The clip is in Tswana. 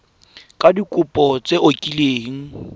ka dikopo tse o kileng